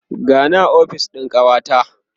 gani a ofis ɗin kawata